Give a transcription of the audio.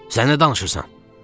Sən nə danışırsan?